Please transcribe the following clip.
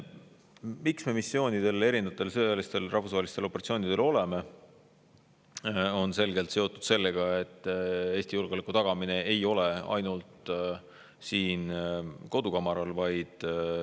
Miks me missioonidel, erinevatel sõjalistel rahvusvahelistel operatsioonidel osaleme, on selgelt seotud sellega, et Eesti julgeolekut me ei taga ainult siin kodukamaral.